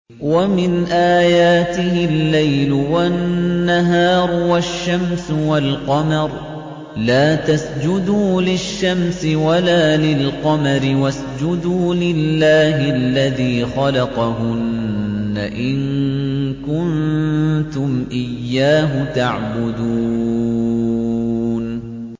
وَمِنْ آيَاتِهِ اللَّيْلُ وَالنَّهَارُ وَالشَّمْسُ وَالْقَمَرُ ۚ لَا تَسْجُدُوا لِلشَّمْسِ وَلَا لِلْقَمَرِ وَاسْجُدُوا لِلَّهِ الَّذِي خَلَقَهُنَّ إِن كُنتُمْ إِيَّاهُ تَعْبُدُونَ